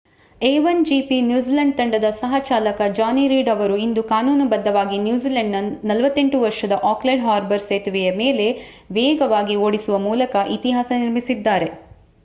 a1gp New Zealand ತಂಡದ ಸಹ-ಚಾಲಕ Johnny Reid ಅವರು ಇಂದು ಕಾನೂನುಬದ್ಧವಾಗಿ ನ್ಯೂಜಿಲೆಂಡ್‌ನ 48 ವರ್ಷದ ಆಕ್ಲೆಂಡ್ ಹಾರ್ಬರ್ ಸೇತುವೆಯ ಮೇಲೆ ವೇಗವಾಗಿ ಓಡಿಸುವ ಮೂಲಕ ಇತಿಹಾಸ ನಿರ್ಮಿಸಿದ್ದಾರೆ